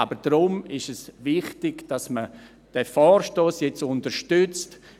Daher ist es wichtig, dass man diesen Vorstoss jetzt unterstützt.